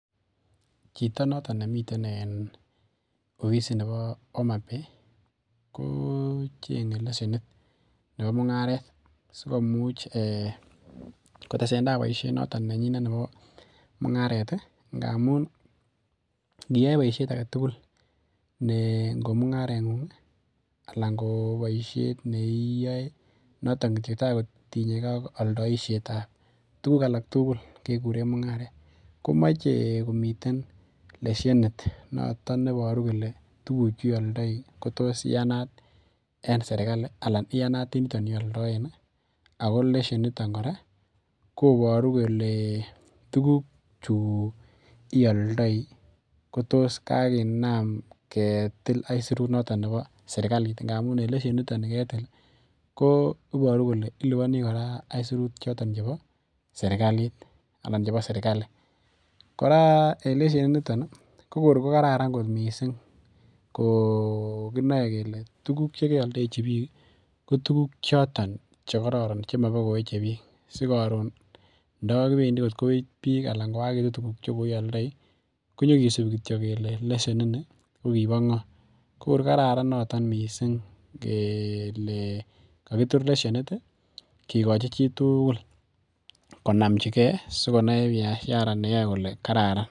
Chitok notok nemiteii opisit nepoo homabay ko chengee leshenit nepoo mungareet asikomuch koteseteaii boisheen nyiin amun iaee poisheet agee tugul taa kotinyee gee ak poishet age tugul amun iparuu kolee tuguu chuu ialdaii koparuu kolee kokinam ketilenin aisuruut nepo serikalii ak kotuuguuk chotok kokararan missing